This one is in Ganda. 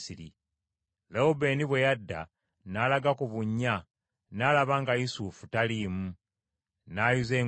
Lewubeeni bwe yadda n’alaga ku bunnya n’alaba nga Yusufu taliimu, n’ayuza engoye ze,